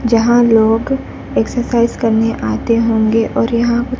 जहां लोग एक्सरसाइज करने आते होंगे और यहां--